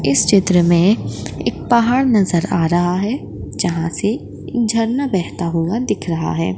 इस चित्र में एक पहाड़ नजर आ रहा है जहा से एक झरना बहता हुआ दिख रहा है।